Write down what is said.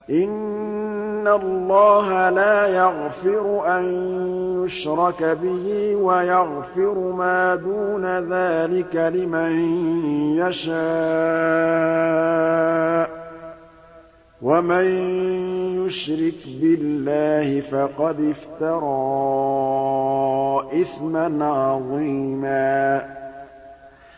إِنَّ اللَّهَ لَا يَغْفِرُ أَن يُشْرَكَ بِهِ وَيَغْفِرُ مَا دُونَ ذَٰلِكَ لِمَن يَشَاءُ ۚ وَمَن يُشْرِكْ بِاللَّهِ فَقَدِ افْتَرَىٰ إِثْمًا عَظِيمًا